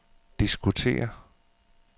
diskutere